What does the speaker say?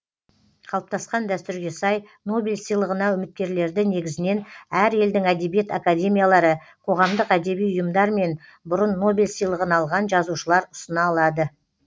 қалыптасқан дәстүрге сай нобель сыйлығына үміткерлерді негізінен әр елдің әдебиет академиялары қоғамдық әдеби ұйымдар мен бұрын нобель сыйлығын алған жазушылар ұсына алады